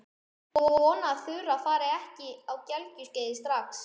Ég vona að Þura fari ekki á gelgjuskeiðið strax.